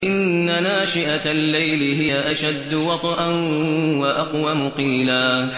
إِنَّ نَاشِئَةَ اللَّيْلِ هِيَ أَشَدُّ وَطْئًا وَأَقْوَمُ قِيلًا